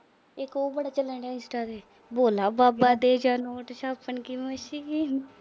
ਇੱਕ ਉਹ ਬੜਾ ਚੱਲਣ ਡੀਆ insta ਤੇ, ਭੋਲਾ ਬਾਬਾ ਦੇ ਨੋਟ ਛਾਪਣ ਦੀ ਮਸ਼ੀਨ